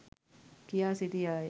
කියා සිටියාය.